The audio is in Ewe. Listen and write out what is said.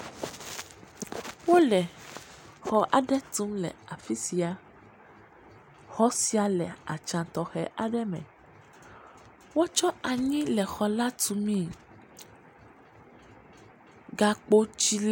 Wole xɔ aɖe tum le afisia. Xɔ sia le woanɔ tɔxɛ aɖe me. Wokɔ anyi kɔ le xɔa tume. Gakpo dzi.